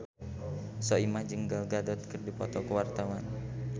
Soimah jeung Gal Gadot keur dipoto ku wartawan